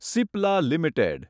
Cipla limited